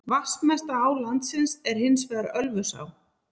Vatnsmesta á landsins er hins vegar Ölfusá.